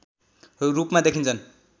रूपमा देखिन्छन्